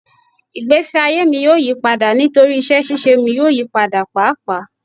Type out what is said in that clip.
Igbesi aye mi yoo yipada nitori iṣẹ ṣiṣe mi yoo yipada paapaa